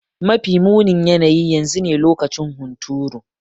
Mafi munin yanayi yanzu ne lokacin hunturu.